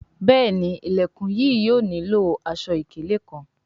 Béèni Ilẹkùn yìí yóò nilo aṣọ-ikele kán.